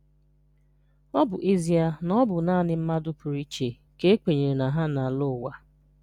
Ọ bụ ezie na ọ bụ naanị mmadụ pụrụ iche ka e kwenyere na ha na-alọ ụwa.